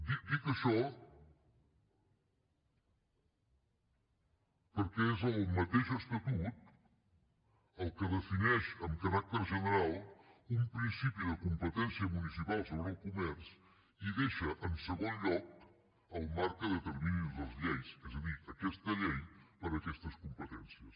dic això perquè és el mateix estatut el que defineix amb caràcter general un principi de competència municipal sobre el comerç i deixa en segon lloc el marc que determinin les lleis és a dir aquesta llei per a aquestes competències